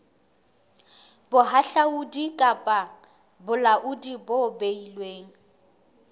bohahlaudi kapa bolaodi bo beilweng